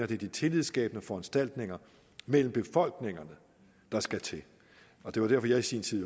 det er de tillidsskabende foranstaltninger mellem befolkningerne der skal til det var derfor jeg i sin tid